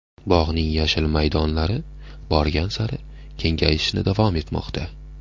Bog‘ning yashil maydonlari borgan sari kengayishni davom etmoqda.